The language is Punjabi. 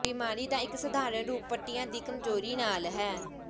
ਬਿਮਾਰੀ ਦਾ ਇੱਕ ਸਧਾਰਣ ਰੂਪ ਪੱਟੀਆਂ ਦੀ ਕਮਜ਼ੋਰੀ ਨਾਲ ਹੈ